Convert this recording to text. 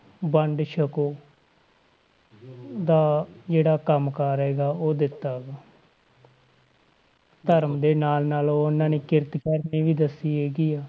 ਵੰਡ ਛਕੋ ਦਾ ਜਿਹੜਾ ਕੰਮ ਕਾਰ ਹੈਗਾ ਉਹ ਦਿੱਤਾ ਗ ਧਰਮ ਦੇ ਨਾਲ ਨਾਲ ਉਹਨਾਂ ਨੇ ਕਿਰਤ ਕਰਨੀ ਵੀ ਦੱਸੀ ਹੈਗੀ ਆ,